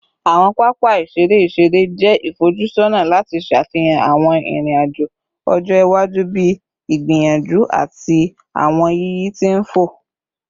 Awọn papa iṣere iṣere jẹ ifojusọna lati ṣafihan awọn irin-ajo ọjọ-iwaju bii igbiyanju ati awọn yiyi ti nfò